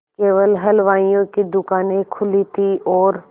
केवल हलवाइयों की दूकानें खुली थी और